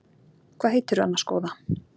Hvað heitirðu annars góða?